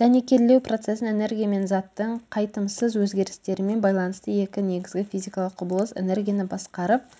дәнекерлеу процесін энергия мен заттың қайтымсыз өзгерістерімен байланысты екі негізгі физикалық құбылыс энергияны басқарып